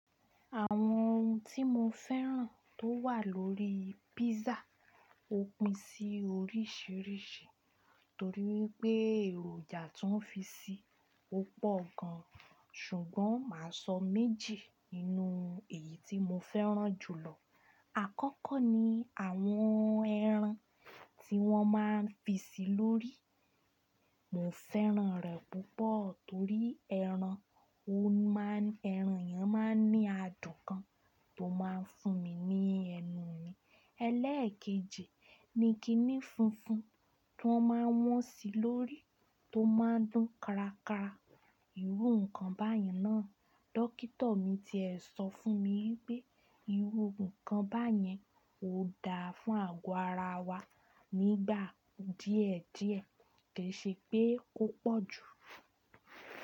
Àwọn ohun tí mo fẹ́ràn tó wà lórí písà ó pín sí oríṣìíríṣìí torí wípé èròjà tó fi si ọ́pọ̀ gan, ṣùgbọ́n mà á sọ méjì nínú èyí tí mo fẹ́ràn jùlọ. Àkọ́kọ́ ni àwọn ẹran tí wọ́n máa ń fi sí lórí, mo fẹ́ràn rẹ̀ púpọ̀ torí ẹran ọ̀hún ẹran yẹn máa ń ní adùn gan tó máa ń fún mi ní ẹnu mi. Ẹlẹ́ẹ̀kejì ni kiní funfun tó máa wọ́n sí lórí tó máa ń dùn kárakára. Iwú nǹkan báyìí náà, dókítà mi tẹ́ ẹ sọ fún mi wípé ìwú nǹkan báyẹn ò da fún àgọ́ ara wa nígbà díẹ̀ díẹ̀, kì í ṣe pé ó pọ̀ jù.